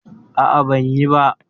A'a, ban yi ba.